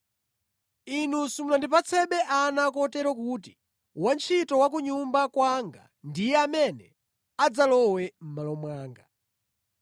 Inu simunandipatse ana kotero kuti wantchito wa ku nyumba kwanga ndiye amene adzalowe mʼmalo mwanga.”